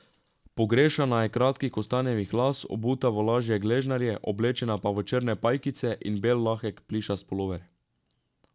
Pogrešana je kratkih kostanjevih las, obuta v lažje gležnarje, oblečena pa v črne pajkice in bel lahek plišast pulover.